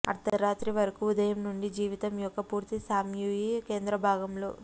అర్థరాత్రి వరకు ఉదయం నుండి జీవితం యొక్క పూర్తి స్యామ్యూయీ కేంద్ర భాగం లో